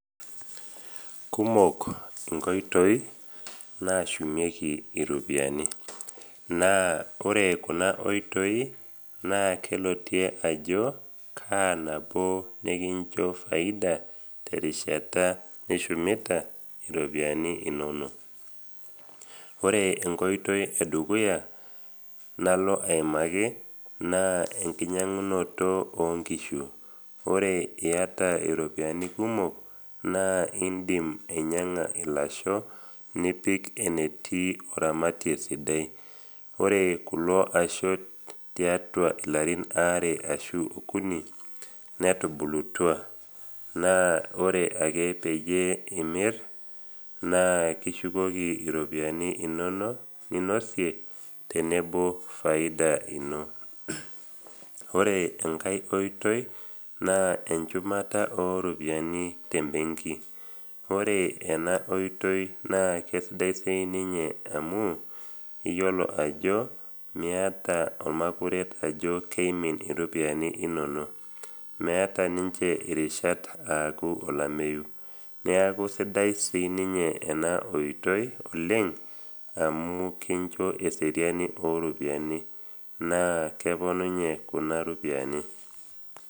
Kumok inkoitoi nashumieki iropiani, naa ore kuna oitoi naa kelotie ajo ka nabo nekincho faida terishata nishumita iropiani inono. Ore enkoitoi edukuya nalo aimaki naa enkinyang’unoto o nkishu. Ore eata iropiani kumok, naa indim ainyang’a ilasho nipik enetii oramatie sidai. Ore kulo ashe tiatua ilarin aare ashu okuni, netubulutua naa ore ake peyie imir, naa kishukoki iropiani inono ninosie tenebo faida ino. Ore enkai oitoi naa encumata o ropiani te mbenki. Ore ena oitoi naa kesidai sii ninye amu iyiolo ajo miata olmakuret ajo keimin iropiani inono, meata ninche irishat aaku olameyu. Neaku sidai siininye ena oitoi oleng amu kincho eseriani o ropiani naa keponunye kuna ropiani.